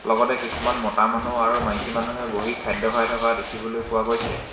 লগতে কিছুমান মতা মানুহ আৰু মাইকী মানুহে বহি খাদ্য খাই থকা দেখিবলৈ পোৱা গৈছে।